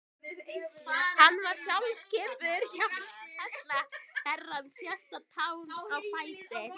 Hann var sjálfskipuð hjálparhella Herrans, sjötta táin á fæti